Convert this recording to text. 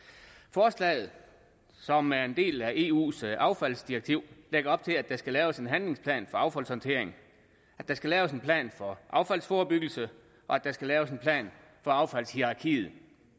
forslaget som er en del af eus affaldsdirektiv lægger op til at der skal laves en handlingsplan for affaldshåndteringen at der skal laves en plan for affaldsforebyggelse og at der skal laves en plan for affaldshierarkiet